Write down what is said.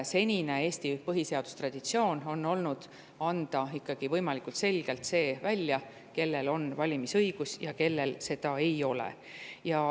Senine Eesti põhiseadustraditsioon on olnud selline, et ikkagi võimalikult selgelt välja, kellel on valimisõigus ja kellel seda ei ole.